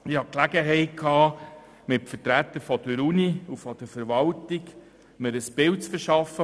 Ich hatte Gelegenheit, mir mit Vertretern der Universität und der Verwaltung ein Bild vor Ort zu verschaffen.